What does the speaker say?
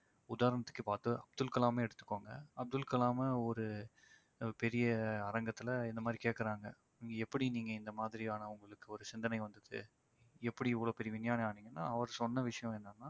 உதாரணத்துக்கு இப்ப வந்து அப்துல் கலாமயே எடுத்துக்கோங்க அப்துல் கலாமை ஒரு பெரிய அரங்கத்தில இந்த மாதிரி கேக்கறாங்க. இங்க எப்படி நீங்க இந்த மாதிரியான உங்களுக்கு ஒரு சிந்தனை வந்தது. எப்படி இவ்ளோ பெரிய விஞ்ஞானி ஆனீங்கன்னா அவர் சொன்ன விஷயம் என்னன்னா